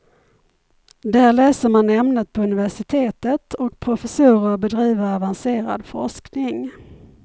Där läser man ämnet på universitetet och professorer bedriver avancerad forskning.